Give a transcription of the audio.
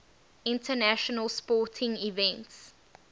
international sporting events